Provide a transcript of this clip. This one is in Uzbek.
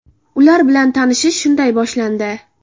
Ular bilan tanishish shunday boshlandi.